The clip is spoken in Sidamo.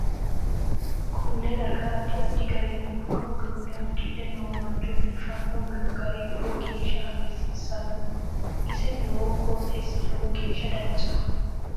Konne darga addi addi garinni budu uduune udidhe noo mancho biifino gari lowo geesha hagiirsisanno ise noo qoxeesi lowo geesha danchaho